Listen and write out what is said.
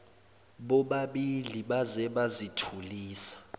bobabili baze bazithulisa